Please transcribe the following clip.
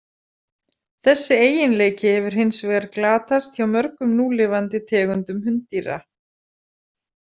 Þessi eiginleiki hefur hins vegar glatast hjá mörgum núlifandi tegundum hunddýra.